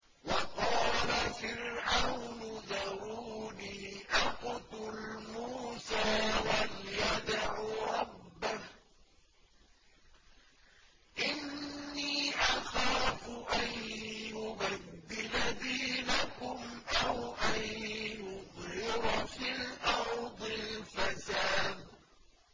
وَقَالَ فِرْعَوْنُ ذَرُونِي أَقْتُلْ مُوسَىٰ وَلْيَدْعُ رَبَّهُ ۖ إِنِّي أَخَافُ أَن يُبَدِّلَ دِينَكُمْ أَوْ أَن يُظْهِرَ فِي الْأَرْضِ الْفَسَادَ